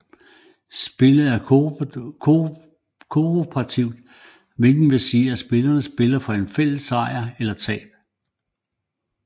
Spillet er kooperativt hvilket vil sige at spillerne spiller for en fælles sejr eller tab